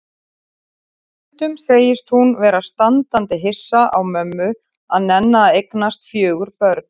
Og stundum segist hún vera standandi hissa á mömmu að nenna að eignast fjögur börn.